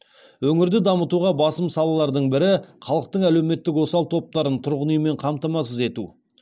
өңірді дамытуға басым салалардың бірі халықтың әлеуметтік осал топтарын тұрғын үймен қамтамасыз ету